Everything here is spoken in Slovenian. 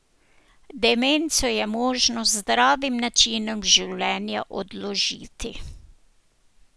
Demenco je možno z zdravim načinom življenja odložiti.